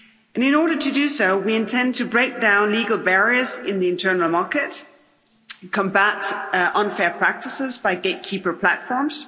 In order to do so, we intend to break down legal barriers in the internal market and combat unfair practices by gatekeeper platforms.